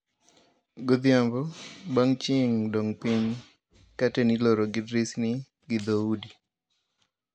Godhiambo bang' chieng' dong piny, katen iloro gi dirisni gi dho udi